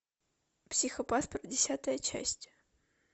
психопаспорт десятая часть